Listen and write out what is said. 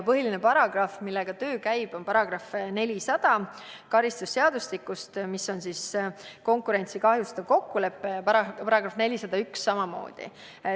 Põhiline paragrahv, millega töö käis, oli karistusseadustiku § 400, mis puudutab konkurentsi kahjustavat kokkulepet, samuti § 401.